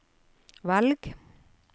velg